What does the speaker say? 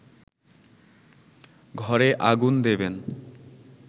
ঘরে আগুন দেবেন